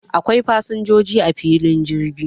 Akwai fasin joji a filin jirgi